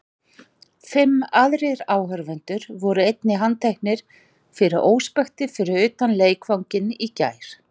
Fimm aðrir áhorfendur voru einnig handteknir fyrir óspektir fyrir utan leikvanginn í gær.